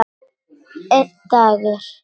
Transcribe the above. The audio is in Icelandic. Einn dagur!